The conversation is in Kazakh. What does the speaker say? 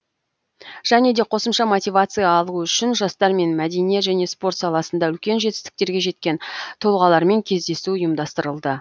және де қосымша мотивация алуы үшін жастар мен мәдениет және спорт саласында үлкен жетістіктерге жеткен тұлғалармен кездесу ұйымдастырылды